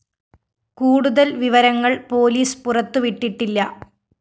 കൂടുതല്‍ വിവരങ്ങള്‍ പോലീസ് പുറത്തുവിട്ടിട്ടില്ല